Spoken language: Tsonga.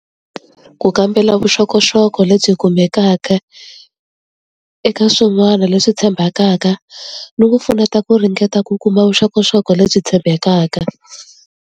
Ku kambela vuxokoxoko lebyi kumekaka eka swin'wana leswi tshembekaka ni ku pfuneta ku ringeta ku kuma vuxokoxoko lebyi tshembekaka.